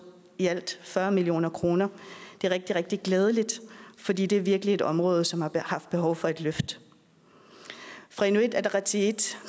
i alt fyrre million kroner det er rigtig rigtig glædeligt fordi det virkelig er et område som har haft behov for et løft fra inuit ataqatigiits